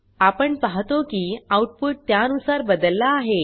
आपण पाहतो की आउटपुट त्यानुसार बदलला आहे